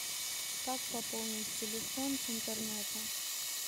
как пополнить телефон с интернета